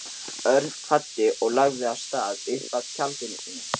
Örn kvaddi og lagði af stað upp að tjaldinu sínu.